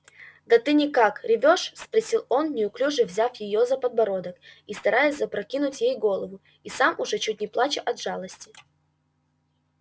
да ты никак ревёшь спросил он неуклюже взяв её за подбородок и стараясь запрокинуть ей голову и сам уже чуть не плача от жалости